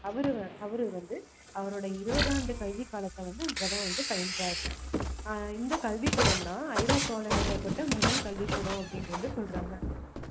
அவரு வந்~ அவரு வந்து அவரோட இருபது ஆண்டு கல்விக் காலத்தை வந்து அங்கதான் வந்து பயின்றாரு ஆஹ் இந்த கல்விக்கூடம் தான் ஐரோப்பாவில நிறுவப்பட்ட முதல் கல்விக்கூடம் அப்படீன்னு வந்து சொல்றாங்க